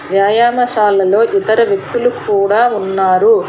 వ్యాయామశాలలో ఇతర వ్యక్తులకు కూడా ఉన్నారు.